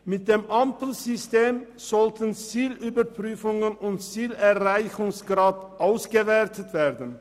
Mit dem Ampelsystem sollten Zielüberprüfungen und Zielerreichungsgrad ausgewertet werden.